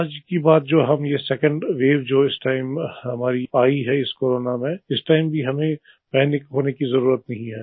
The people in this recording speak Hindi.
आज की बात जो ये सेकंड वेव जो इस टाइम हमारी आयी है इस कोरोना में इस टाइम भी हमें पैनिक होने की जरूरत नहीं है